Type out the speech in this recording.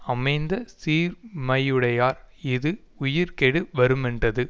அமைந்த சீர்மையுடையார் இது உயிர்க்கேடு வருமென்றது